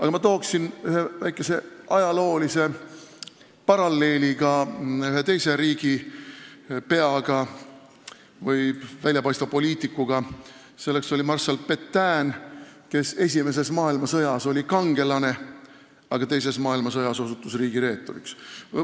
Aga ma toon väikese ajaloolise paralleeli ühe teise riigipeaga, väljapaistva poliitikuga, kelleks on marssal Pétaine, kes esimeses maailmasõjas oli kangelane, aga teises maailmasõjas osutus riigireeturiks.